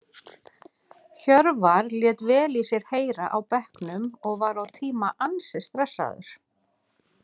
Hjörvar lét vel í sér heyra á bekknum og var á tíma ansi stressaður.